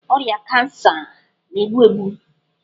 Ọrịa kansa na-egbu egbu.